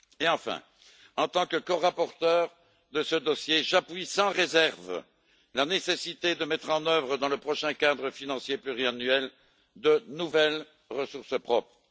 Enfin, en tant que corapporteur de ce dossier, j'appuie sans réserve la nécessité de mettre en œuvre, dans le prochain cadre financier pluriannuel, de nouvelles ressources propres.